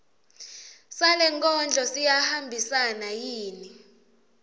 salenkondlo siyahambisana yini